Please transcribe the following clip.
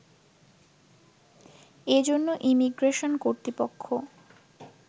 এ জন্য ইমিগ্রেশন কর্তৃপক্ষ